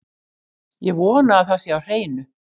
Ég vona að það sé á hreinu.